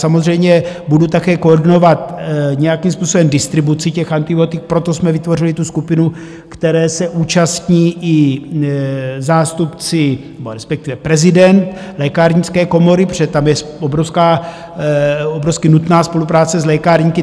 Samozřejmě budu také koordinovat nějakým způsobem distribuci těch antibiotik, proto jsme vytvořili tu skupinu, které se účastní i zástupci nebo respektive prezident lékárnické komory, protože tam je obrovsky nutná spolupráce s lékárníky.